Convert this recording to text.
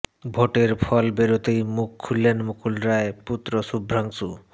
ভোটের ফল বেরোতেই মুখ খুললেন মুকুল রায় পুত্র শুভ্রাংশু